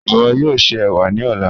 Iwọ yoo ṣe ewa ni ọla.